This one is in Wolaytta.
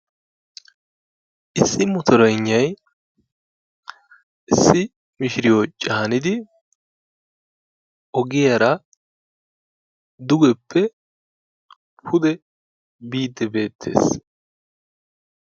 issi motoreygnay issi mishiriyo caanidi ogiyara dugeppe pude biiddi beettees.